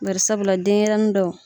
Barisabula denɲɛrɛnin dɔw